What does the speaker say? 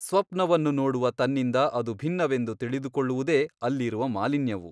ಸ್ವಪ್ನವನ್ನು ನೋಡುವ ತನ್ನಿಂದ ಅದು ಭಿನ್ನವೆಂದು ತಿಳಿದುಕೊಳ್ಳುವುದೇ ಅಲ್ಲಿರುವ ಮಾಲಿನ್ಯವು.